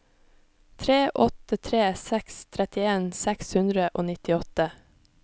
tre åtte tre seks trettien seks hundre og nittiåtte